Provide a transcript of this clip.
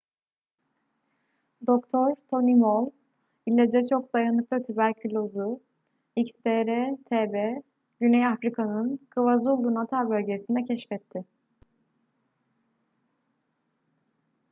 dr. tony moll i̇laca çok dayanıklı tüberküloz'u xdr-tb güney afrika'nın kwazulu-natal bölgesinde keşfetti